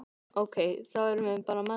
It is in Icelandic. Ok, þá erum við bara með það?